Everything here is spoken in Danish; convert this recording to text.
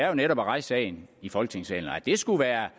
jo netop at rejse sagen i folketingssalen at det skulle være